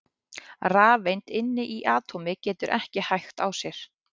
rafeind inni í atómi getur ekki hægt á sér!